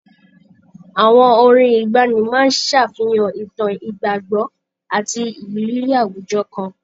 Àwọn orin ìgbaanì máa ń ṣàfihàn ìtàn, ìgbàgbọ́ àti ìrírí àwùjọ kan.